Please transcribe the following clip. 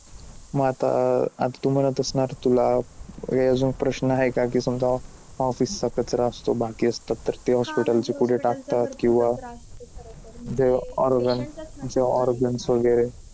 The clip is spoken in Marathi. म आता अं तु म्हणत असणार तुला हे अजून प्रश्न आहे का? की समजा office चा कचरा असतो बाकी असतात तर ते hospital चे कुठे टाकतात? किंवा